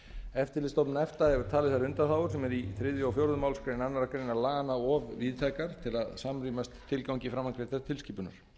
eftirlitsstofnun efta hefur talið þær undanþágur sem eru í þriðja og fjórðu málsgrein annarrar greinar laganna of víðtækar til að samrýmast tilgangi framangreindrar tilskipunar